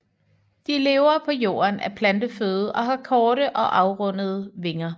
De lever på jorden af planteføde og har korte og afrundede vinger